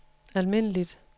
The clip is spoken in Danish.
almindeligt